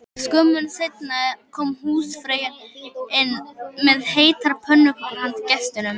Skömmu seinna kom húsfreyjan inn með heitar pönnukökur handa gestunum